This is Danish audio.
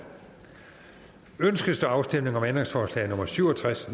ønskes der afstemning om ændringsforslag nummer syv og tres